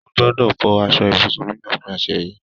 Mo gbódò fọ aṣọ ibùsùn mi ní òpin ọ̀sẹ̀ yìí.